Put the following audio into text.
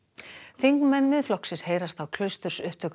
þingmenn Miðflokksins heyrast á